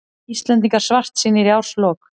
Íslendingar svartsýnir í árslok